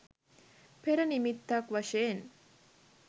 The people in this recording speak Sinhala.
පෙර නිමිත්තක් වශයෙන්